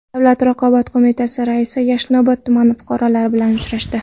Davlat raqobat qo‘mitasi raisi Yashnobod tumani fuqarolari bilan uchrashdi.